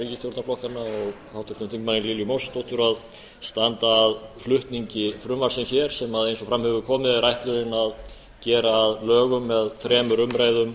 ríkisstjórnarflokkanna og háttvirtum þingmanni lilju mósesdóttur að standa að flutningi frumvarpsins hér sem eins og fram hefur komið er ætlunin að gera að lögum með þremur umræðum